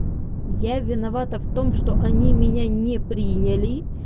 я виновата в том что они меня не приняли